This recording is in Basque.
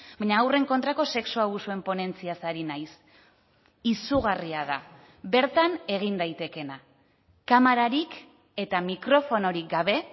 baina haurren kontrako sexu abusuen ponentziaz ari naiz izugarria da bertan egin daitekeena kamerarik eta mikrofonorik gabe